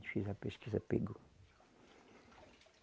Fez a pesquisa, pegou.